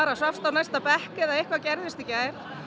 svafst á næsta bekk eða eitthvað gerðist í gær